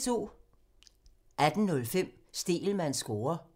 18:05: Stegelmanns score (tir) 19:20: P2 Koncerten – Fransk og italiensk på sønderjysk